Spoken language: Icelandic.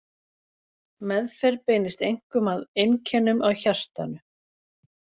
Meðferð beinist einkum að einkennum á hjartanu.